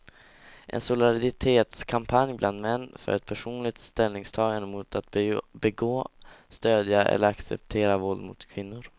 En solidaritetskampanj bland män för ett personligt ställningstagande mot att begå, stödja eller acceptera våld mot kvinnor.